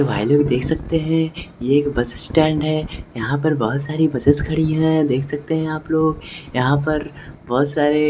तो भाई लोग देख सकते हैं ये एक बस स्टैंड है यहां पर बहुत सारी बसेस खड़ी हैं देख सकते हैं आप लोग यहां पर बहुत सारे--